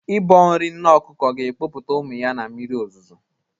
Ịbọ nri nne ọkụkọ ga-ekpopụta ya ụmụ ya na mmiri ozuzo.